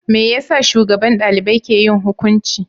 Me yasa shugaban dalibai ke yin hukunci?